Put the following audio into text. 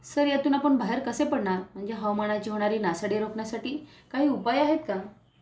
Sir यातून आपण बाहेर कसे पडणार म्हणजे हवामानाची होणारी नासाडी रोखण्यासाठी काही उपाय आहेत का?